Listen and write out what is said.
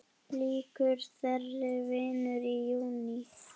Lýkur þeirri vinnu í júní.